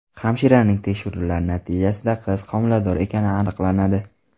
Hamshiraning tekshiruvlari natijasida qiz homilador ekani aniqlanadi.